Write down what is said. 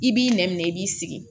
I b'i nɛn minɛ i b'i sigi